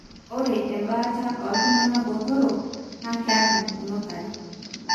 ore embaata oltungana botorok AML na keeta pukunot are.